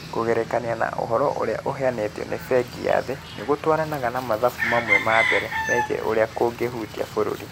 Kũgerekania na ũhoro ũrĩa ũheanĩtwo nĩ Bengi ya Thĩ nĩ gũtwaranaga na mathabu mamwe ma mbere megiĩ ũrĩa kũngĩhutia bũrũri.